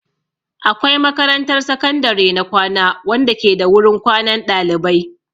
Akwai makarantar sakandare na kwana wanda ke da wurin kwanan ɗalibai.